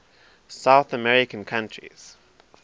south american countries